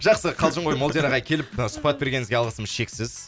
жақсы қалжың ғой молдияр ағай келіп сұхбат бергеніңізге алғысымыз шексіз